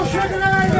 Maşın yoxdur.